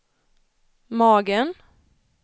magen